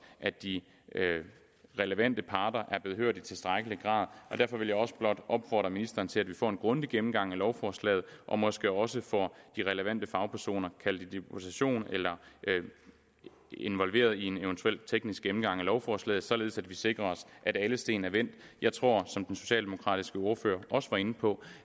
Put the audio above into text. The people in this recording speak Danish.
at de relevante parter er blevet hørt i tilstrækkelig grad og derfor vil jeg også blot opfordre ministeren til at vi får en grundig gennemgang af lovforslaget og måske også får de relevante fagpersoner kaldt i deputation eller involveret i en eventuel teknisk gennemgang af lovforslaget således at vi sikrer os at alle sten er vendt jeg tror som den socialdemokratiske ordfører også var inde på